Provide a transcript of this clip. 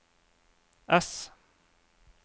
ess